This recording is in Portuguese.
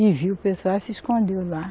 E viu o pessoal, se escondeu lá.